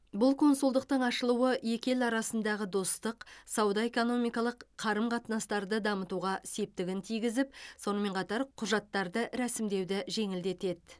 бұл консулдықтың ашылуы екі ел арасындағы достық сауда экономикалық қарым қатынастарды дамытуға септігін тигізіп сонымен қатар құжаттарды рәсімдеуді жеңілдетеді